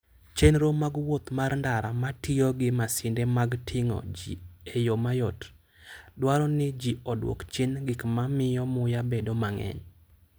Chenro mag wuoth mar ndara ma tiyo gi masinde mag ting'o ji e yo mayot, dwaro ni ji odwok chien gik ma miyo muya bedo mang'eny.